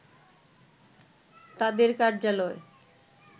তাদের কার্যালয়